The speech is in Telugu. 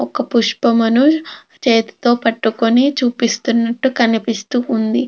ఒక పుష్పమును చేతితో పట్టుకొని చూపిస్తునంటు కనిపిస్తూ ఉంది.